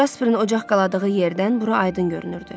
Casperin ocaq qaladığı yerdən bura aydın görünürdü.